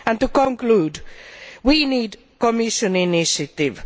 go. To conclude, we need a Commission initiative.